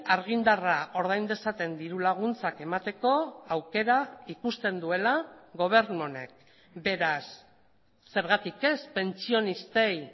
argindarra ordain dezaten dirulaguntzak emateko aukera ikusten duela gobernu honek beraz zergatik ez pentsionistei